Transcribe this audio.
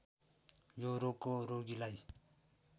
यो रोगको रोगीलाई